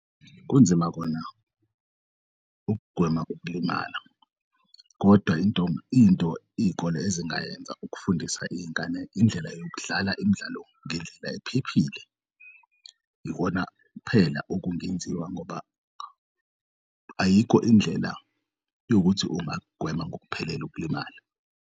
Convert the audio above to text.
Kunzima kona ukugwema ukulimala, kodwa into iy'kole ezingayenza ukufundisa iy'ngane indlela yokudlal'imidlalo ngendlela ephephile ikona kuphela okungenziwa ngoba ayikho indlela yokuthi ungak'gwema ngokuphelele ukulimala.